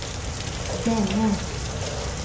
denne